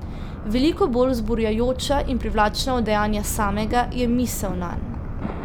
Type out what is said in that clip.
Veliko bolj vzburjajoča in privlačna od dejanja samega je misel nanj.